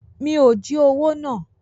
Mi ò jí owó náà.